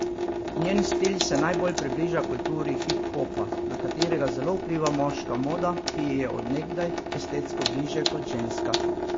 Njen stil se najbolj približa kulturi hiphopa, na katerega zelo vpliva moška moda, ki ji je od nekdaj estetsko bližje kot ženska.